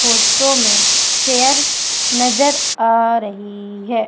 Photo में chair नजर आ रही है।